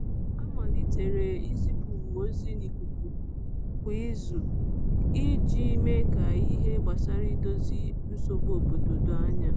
A malitere izipu ozi na ikuku kwa izu iji mee ka ihe gbasara idozi nsogbu obodo doo anya.